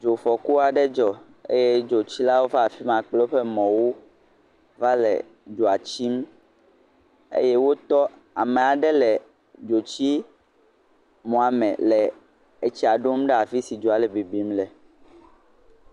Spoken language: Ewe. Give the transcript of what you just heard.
Dzofɔku aɖe dzɔ eye dzotsilawo va afi ma kple woƒe mɔwo va le dzoa tsim eye wotɔ ame aɖew le dzotsimɔa me le etsia ɖom ɖe afi si dzoa le bibim le.